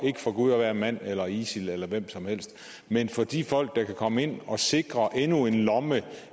for gud og hver mand eller isil eller hvem som helst men for de folk der kan komme ind og sikre endnu en lomme